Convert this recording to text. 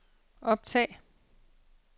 optag